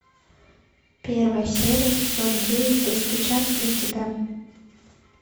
первая серия сезон девять достучаться до тебя